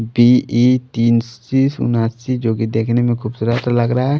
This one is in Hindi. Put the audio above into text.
बी ई तीन सी उन्नासी जो कि देखने में खूबसूरत लग रहा है।